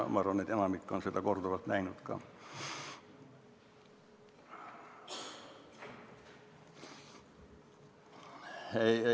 Ma arvan, et enamik on seda korduvalt näinud ka.